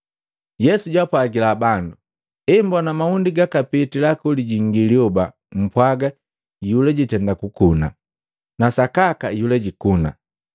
Yesu jaapwajila bandu, “Emmbona mahundi gakapitila kolijingi lyoba, mpwaga, ‘Iyula jiitenda kukuna’ Na sakaka iyula jikuna.